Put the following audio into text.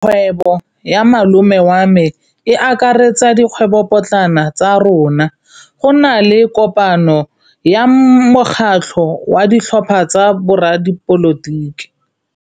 Kgwêbô ya malome wa me e akaretsa dikgwêbôpotlana tsa rona. Go na le kopanô ya mokgatlhô wa ditlhopha tsa boradipolotiki.